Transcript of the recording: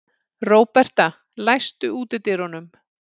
Róberta, læstu útidyrunum.